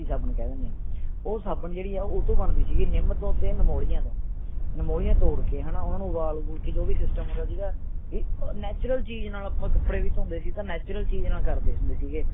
ਸਾਬੂਣ ਕਹਿ ਦਿੰਨੇ ਆ ਉਹ ਸਾਬਣ ਜਿਹੜੀ ਹੈ ਓਹ ਉਹਤੋਂ ਬਣਦੀ ਸੀਗੀ ਨਿੱਮ ਤੋਂ ਤੇ ਨਿਮੋਲੀਆਂ ਤੋਂ ਨਿਮੋਲੀਆਂ ਤੋੜ ਕੇ ਹੈ ਨਾ ਉਨ੍ਹਾਂ ਨੂੰ ਉਬਾਲ ਊਬੂਲ ਕੇ ਜੋ ਵੀ system ਹੁੰਦਾ ਸੀਗਾ ਵੀ natural ਚੀਜ਼ ਨਾਲ ਆਪਾਂ ਕੱਪੜੇ ਵੀ ਧੋਂਦੇ ਸੀ ਤੇ natural ਚੀਜ਼ ਨਾਲ ਕਰਦੇ ਹੁੰਦੇ ਸੀਗੇ